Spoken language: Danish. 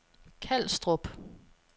Kalstrup